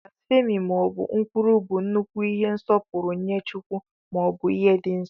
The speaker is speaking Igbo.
Blasphemí maọbu nkwulu bụ nnukwu ihe nsọpụrụ nye chukwu, maọbu ihe dị nso.